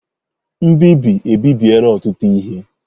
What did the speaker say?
Mbibi ebibiela ọtụtụ ihe.